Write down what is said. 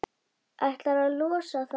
Ætlaði að losa það, sko.